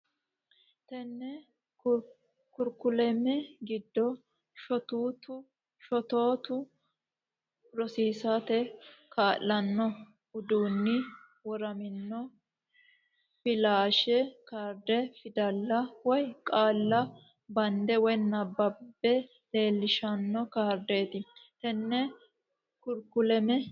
Tenne karikuleme giddo shotootu rosiisate kaa lanno uduunni woramino Filaashi kaarde fidalla woy qaalla badde woy nabbabbe leellishshanno kaardeet Tenne karikuleme.